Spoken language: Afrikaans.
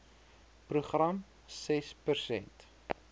program ses persent